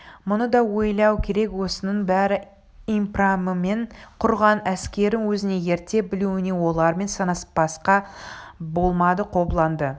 мұны да ойлау керек осының бәрі импрамымен құрған әскерін өзіне ерте білуінен олармен санаспасқа болмады қобыланды